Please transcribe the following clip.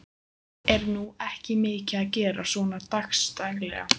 Hér er nú ekki mikið að gera svona dagsdaglega.